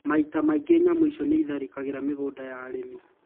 Maita maingi nyamũ icio niitharikagira migunda ya arimi